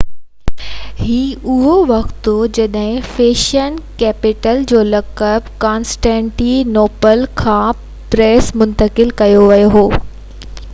هي اُهو وقت هو جڏهن فيشن ڪيپيٽل جو لقب ڪانسٽينٽي نوپل کان پئرس منتقل ڪيو ويو هو